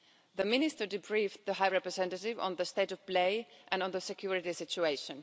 The Minister debriefed the High Representative on the state of play and on the security situation.